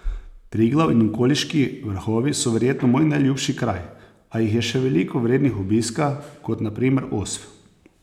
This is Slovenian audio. Triglav in okoliški vrhovi so verjetno moj najljubši kraj, a jih je še veliko vrednih obiska, kot na primer Osp.